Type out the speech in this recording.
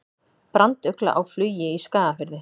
Brandugla á flugi í Skagafirði.